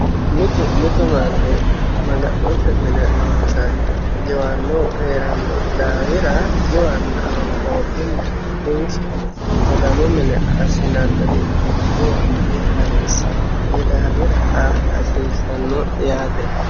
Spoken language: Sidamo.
mitu mitu manni maga'note mine laonsanniha giwannohu hee'ranno daafira giwaanna honqooqimma bunshe maganu mine assinanniricho giwa dihasiissanno koy daafira aa hasiissanno yaate.